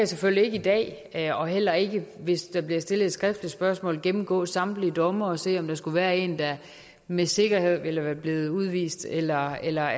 selvfølgelig ikke i dag og heller ikke hvis der bliver stillet et skriftligt spørgsmål gennemgå samtlige domme og se om der skulle være en der med sikkerhed ville være blevet udvist eller eller